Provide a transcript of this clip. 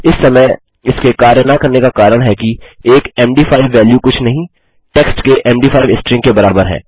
इस समय इसके कार्य न करने का कारण है कि एक मद5 वैल्यू कुछ नहीं टेक्स्ट के मद5 स्ट्रिंग के बराबर है